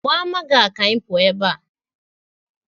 Gbaa Maga ka anyị pụọ ebe a